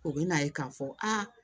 U bɛ n'a ye k'a fɔ a